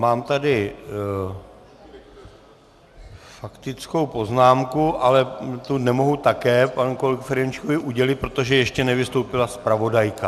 Mám tady faktickou poznámku, ale tu nemohu také panu kolegovi Ferjenčíkovi udělit, protože ještě nevystoupila zpravodajka.